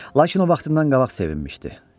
Lakin o vaxtından qabaq sevinmişdi.